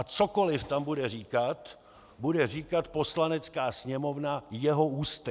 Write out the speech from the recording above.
A cokoli tam bude říkat, bude říkat Poslanecká sněmovna jeho ústy.